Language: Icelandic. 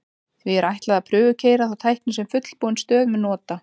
því er ætlað að prufukeyra þá tækni sem fullbúin stöð mun nota